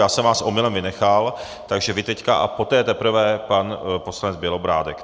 Já jsem vás omylem vynechal, takže teď vy a poté teprve pan poslanec Bělobrádek.